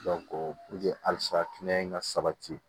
halisa kɛnɛya in ka sabati